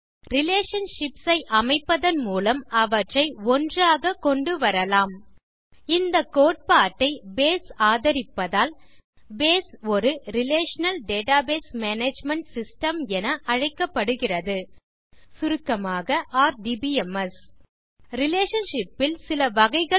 relationships ஐ அமைப்பதன் மூலம் அவற்றை ஒன்றாக கொண்டுவரலாம் இந்த கோட்பாட்டை பேஸ் ஆதரிப்பதால் பேஸ் ஒரு ரிலேஷனல் டேட்டாபேஸ் மேனேஜ்மெண்ட் சிஸ்டம் என அழைக்கப்படுகிறது சுருக்கமாக ஆர்டிபிஎம்எஸ் ரிலேஷன்ஷிப்ஸ் ல் சில வகைகள் உள்ளன